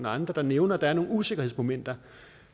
og andre nævner at der er nogle usikkerhedsmomenter